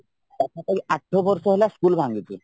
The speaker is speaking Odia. ପାଖ ପାଖି ଆଠ ବର୍ଷ ହେଲା ସ୍କୁଲ ଭାଙ୍ଗିଛି